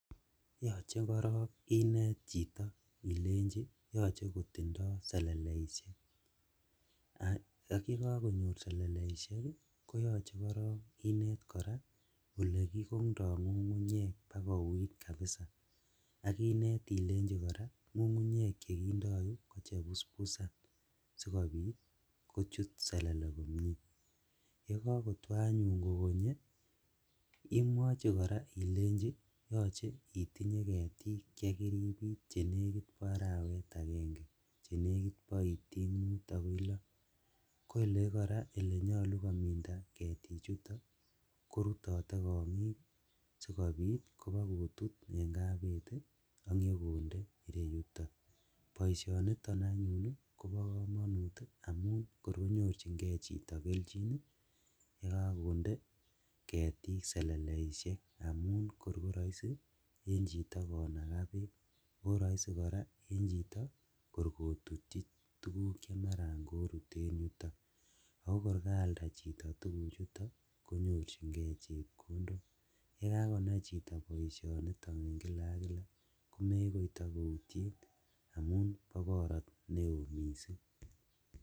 Yoche korong inet chito ilenjin yoche kotindo seleleisiek, ak ye kakonyor seleleisiek koyoche inet korong olekikondoo ngungunyek bakuit kabisa, ak inet ilei koraa ngungunyek chekindou ko chebusbusan sikobit kochut selele komie, yekokotwo anyun kokonye imwochi koraa ilenji yoche itinye ketik chekiribit chenekit bo arawet agenge chenekit bo itik loo, ko elekoraa elenyolu kominda ketichuto korutote kongik sikobit kobokotut en kabeti ak nyokonde ireyuto, boishoniton anyun kobo komonut amun ngor konyorjigee chito keljin yekokonde ketik seleleisiek amun korkoroisi en chito konakaa beek ako roisi koraa en chito kor kotutyin tugun chemaran korut en yuto, o kor kaalda chito tuguchuto konyorjigee chepkondok yekakonai chito boisioniton en kila ak kila komekoi tokoutien amun bo borotet neo missing'.